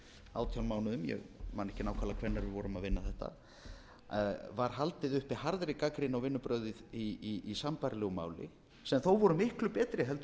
átján mánuðum ég man ekki nákvæmlega hvenær við vorum að vinna þetta var haldið uppi harðri gagnrýni á vinnubrögð í sambærilegu máli sem þó voru miklu betri